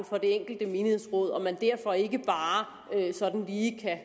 for det enkelte menighedsråd og at man derfor ikke bare sådan lige kan